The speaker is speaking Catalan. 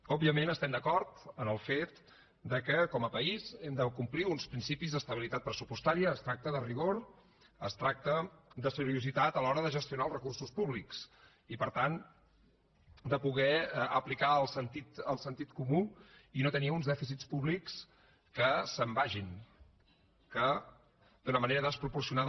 òbviament estem d’acord en el fet que com a país hem de complir uns principis d’estabilitat pressupostària es tracta de rigor es tracta de seriositat a l’hora de gestionar els recursos públics i per tant de poder aplicar el sentit comú i no tenir uns dèficits públics que se’n vagin que d’una manera desproporcionada